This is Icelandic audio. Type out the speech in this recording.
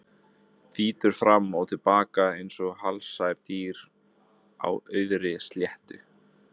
Þýtur fram og til baka einsog helsært dýr á auðri sléttu.